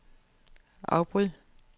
afbryd